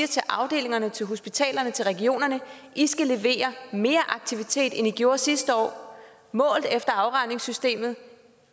til afdelingerne til hospitalerne til regionerne i skal levere mere aktivitet end i gjorde sidste år målt efter afregningssystemet